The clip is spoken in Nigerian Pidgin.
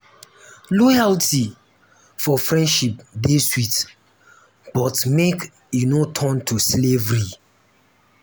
loyalty for friendship dey sweet but make e um no turn to slavery.